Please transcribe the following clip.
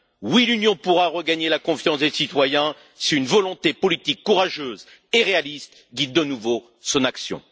Oui, l'Union pourra regagner la confiance des citoyens si une volonté politique courageuse et réaliste guide de nouveau son action.